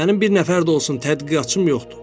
Mənim bir nəfər də olsun tədqiqatçım yoxdur.